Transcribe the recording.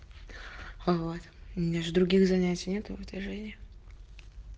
вот у меня же других занятий нет в этой жизни